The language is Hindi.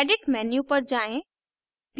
edit menu पर जाएँ